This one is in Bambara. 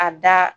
A da